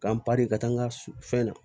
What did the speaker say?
K'an ka taa n ka fɛn na